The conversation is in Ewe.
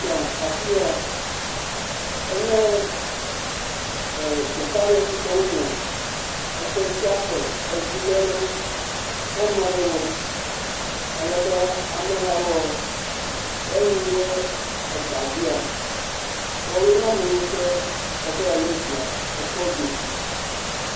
Afi ya, enye teƒe aɖe si ke wonɔ eƒe sia ƒe etsilele kɔnu aɖe wɔm, alebe ame heya woa, ne woyi ɖe egbea dzia, woawoe nye ame yiwo ke eva lé zia ekɔ gbɔe.